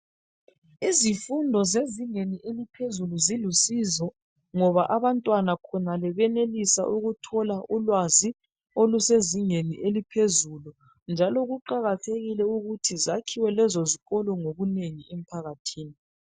Izifundo zezingeni eliphezulu zilusizo kakhulu ngoba abantwana khonale benelisa ukuthola ulwazi olusezingeni eliphezulu njalo kuqakathekile ukuthi zakhiwe lezo zikolo ngobunengi emphakathini.